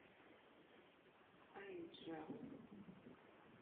аиджал